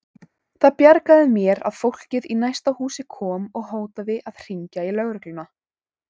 Það bjargaði mér að fólkið í næsta húsi kom og hótaði að hringja í lögregluna.